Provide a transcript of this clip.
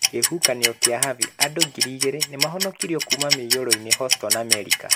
kĩhuhũkanio kĩa Harvey: Andũ ngiri igeerĩ nĩ maahonokirio kuuma mũiyũro-inĩ Houston, Amerika.